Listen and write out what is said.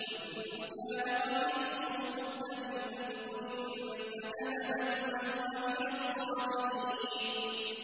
وَإِن كَانَ قَمِيصُهُ قُدَّ مِن دُبُرٍ فَكَذَبَتْ وَهُوَ مِنَ الصَّادِقِينَ